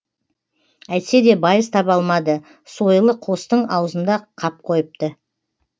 әйтсе де байыз таба алмады сойылы қостың аузында қап қойыпты